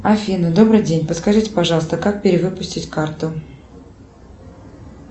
афина добрый день подскажите пожалуйста как перевыпустить карту